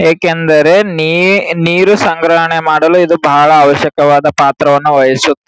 ಏಕೆಂದರೆ ನೀ ನೀರು ಸಂಗ್ರಹಣೆ ಮಾಡಲು ಇದು ಬಹಳ್ ಅವಶ್ಯಕವಾದ ಪಾತ್ರವನ್ನು ವಹಿಸು --